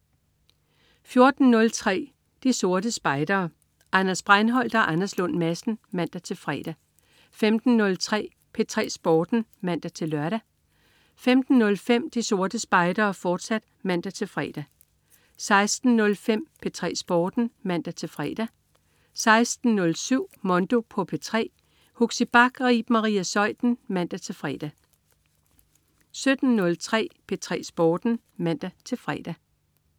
14.03 De Sorte Spejdere. Anders Breinholt og Anders Lund Madsen (man-fre) 15.03 P3 Sporten (man-lør) 15.05 De Sorte Spejdere, fortsat (man-fre) 16.05 P3 Sporten (man-fre) 16.07 Mondo på P3. Huxi Bach og Iben Maria Zeuthen (man-fre) 17.03 P3 Sporten (man-fre)